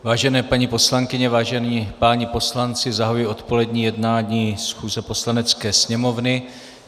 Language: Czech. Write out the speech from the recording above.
Vážené paní poslankyně, vážení páni poslanci, zahajuji odpolední jednání schůze Poslanecké sněmovny.